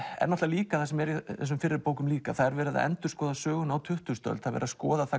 er líka það sem er í þessum fyrri bókum líka verið að endurskoða söguna á tuttugustu öld skoða